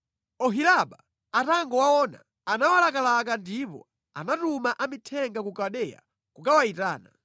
Oholiba atangowaona, anawalakalaka ndipo anatuma amithenga ku Kaldeya kukawayitana.